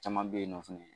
Caman bɛ yen nɔ fɛnɛ